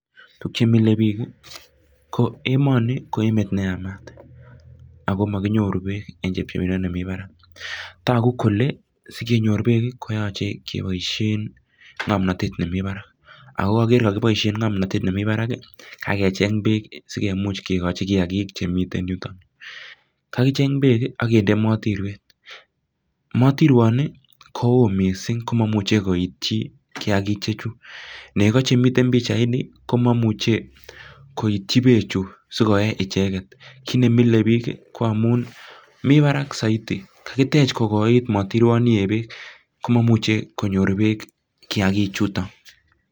tuguk che mile biik ii ko emoni ko emet ne yamat ako mokinyoru beek en chepchepindo nemii barak togu kole sikenyor beek koyoche keboishen ngomnotet nemiten barak ago kokere kakiboishen ngomnotet nemi barak ii kagecheng beek sikimuch kigochi kiyakiik chemiten yuton kakicheng beek ii akinde motirwet motirwoni ko oo missing ko momuche koityi kiyakiik chechu nego chemiten pichaini ko momuche koityi bee chu sikoe icheget kit nemile biik ko amuun mi barak soiti kakitech kokoiit motirwoniep beek ko momuche konyor beek kiyakiik chuton